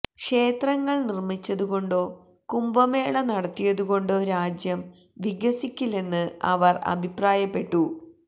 ക്ഷേത്രങ്ങള് നിര്മ്മിച്ചതുകൊണ്ടോ കുംഭമേള നടത്തിയതു കൊണ്ടോ രാജ്യം വികസിക്കില്ലെന്ന് അവര് അഭിപ്രായപ്പെട്ടു